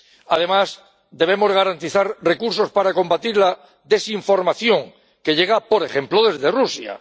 Además, debemos garantizar recursos para combatir la desinformación que llega, por ejemplo desde Rusia.